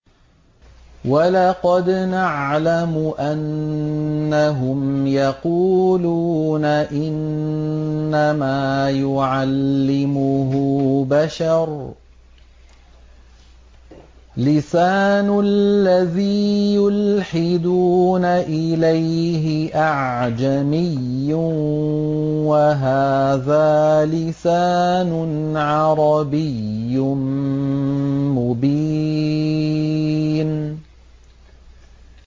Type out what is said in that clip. وَلَقَدْ نَعْلَمُ أَنَّهُمْ يَقُولُونَ إِنَّمَا يُعَلِّمُهُ بَشَرٌ ۗ لِّسَانُ الَّذِي يُلْحِدُونَ إِلَيْهِ أَعْجَمِيٌّ وَهَٰذَا لِسَانٌ عَرَبِيٌّ مُّبِينٌ